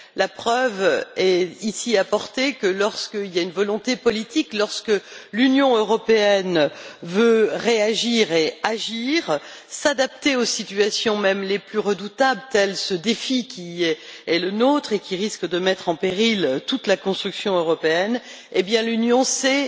La preuve est ici apportée que, lorsqu'il y a une volonté politique, lorsque l'Union européenne veut réagir et agir, s'adapter aux situations, même les plus redoutables, tel ce défi qui se présente à nous et qui risque de mettre en péril toute la construction européenne, elle sait